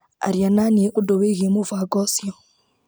Aria naniĩ undũ wĩigiĩ mũbango ũcio.